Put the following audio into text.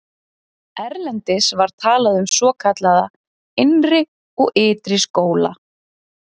Erlendis var talað um svokallaða innri og ytri skóla.